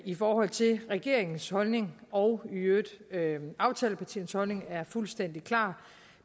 i forhold til regeringens holdning og i øvrigt aftalepartiernes holdning er fuldstændig klar